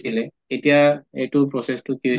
দিলে তেতিয়া এইটো process টো কি